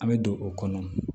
An bɛ don o kɔnɔ